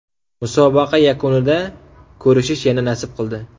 Musobaqa yakunida ko‘rishish yana nasib qildi.